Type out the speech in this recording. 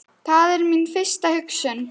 Það er mín fyrsta hugsun.